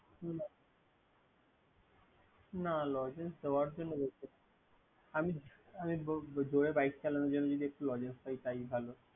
না লজেন্স দেওয়ার জন্য বলছি না। আমি জোরে বাইক চালানোর জন্য যদি একটি লজেন্স পাই তাই ভালো।